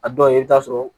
A dɔw la i bɛ taa sɔrɔ